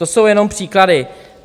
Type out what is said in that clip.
To jsou jenom příklady.